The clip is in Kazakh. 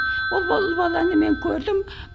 ол ұл баланы мен көрдім